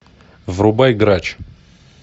врубай грач